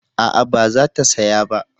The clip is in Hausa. A'a ba za ta saya ba